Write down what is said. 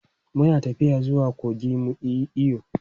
Mu na tafiya zuwa kogi mu yi iyo.